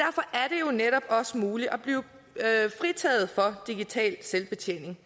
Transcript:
jo netop også muligt at blive fritaget for digital selvbetjening